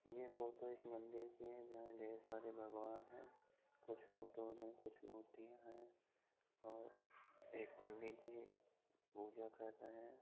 यह फोटो एक मंदिर की है जहां ढेर सारे भगवान हैं कुछ फोटोस हैं कुछ मूर्तियां हैं और एक पंडित जी पूजा कर रहे हैं।